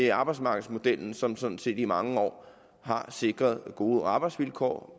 er arbejdsmarkedsmodellen som sådan set i mange år har sikret gode arbejdsvilkår